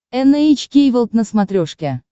эн эйч кей волд на смотрешке